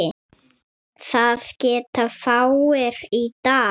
Það geta fáir í dag.